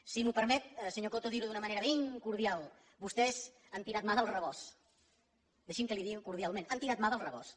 si em permet senyor coto dir ho d’una manera ben cordial vostès han tirat mà del rebost deixi’m que li ho digui cordialment han tirat mà del rebost